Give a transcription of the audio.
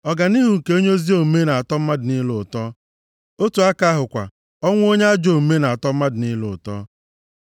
Ọganihu nke onye ezi omume na-atọ mmadụ niile ụtọ, otu aka ahụ kwa, ọnwụ onye ajọ omume na-atọ mmadụ niile ụtọ.